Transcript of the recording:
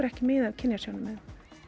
ekki mið af kynjasjónarmiðum